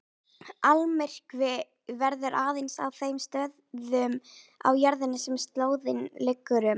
Almyrkvi verður aðeins á þeim stöðum á jörðinni sem slóðin liggur um.